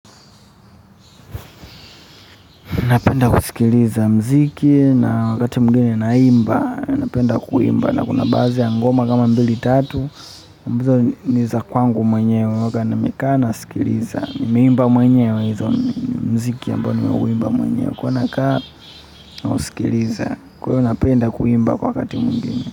Napenda kusikiliza mziki na wakati mwingine naimba. Ninapenda kuimba na kuna baadhi ngoma kama mbili tatu. Ni za kwangu mwenyewa huwanga nimekana. Nimeimba mwenyewe hizo mziki ambao nimeuimba mwenyewe huwa nakaa na usikiliza. Kwa hiyo ninapenda kuimba kwa wakati mwingine.